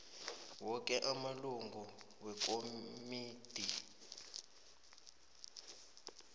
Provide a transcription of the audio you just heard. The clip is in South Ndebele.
woke amalungu wekomidi